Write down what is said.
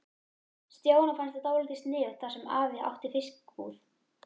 Stjána fannst það dálítið sniðugt þar sem afi átti fiskbúð.